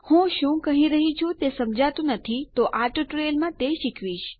હું શું કહી રહ્યી છું જો તે સમજાતું નથી તો હું આ ટ્યુટોરીયલમાં તે શીખવીશ